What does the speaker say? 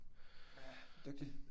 Ja dygtig